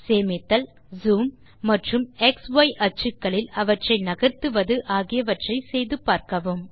சேமித்தல் ஜூம் மற்றும் X Y அச்சுக்களில் அவற்றை நகர்த்துவது ஆகியவற்றை செய்து பார்க்கவும்